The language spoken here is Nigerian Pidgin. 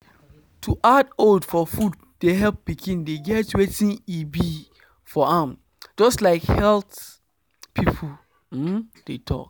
to add oats for food de help pikin de get wetin e be for am just like health people um de talk